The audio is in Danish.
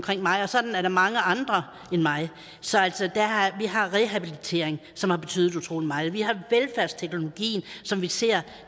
mig og sådan er der mange andre end mig så vi har rehabilitering som har betydet utrolig meget vi har velfærdsteknologien som vi ser